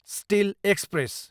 still express